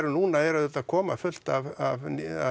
núna eru auðvitað að koma fullt af